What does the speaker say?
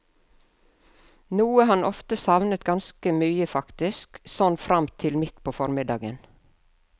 Noe han ofte savnet ganske mye faktisk, sånn fram til midt på formiddagen.